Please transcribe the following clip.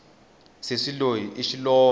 sesi loyi i xilombe